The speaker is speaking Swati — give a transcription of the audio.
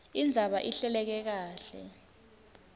indzaba ihleleke kahle